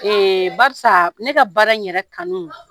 Ee barisa ne ka baara yɛrɛ kanu